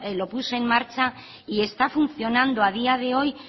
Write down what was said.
lo puso en marcha y está funcionando a día de hoy